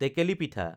টেকেলি পিঠা